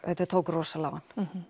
þetta tók rosalega á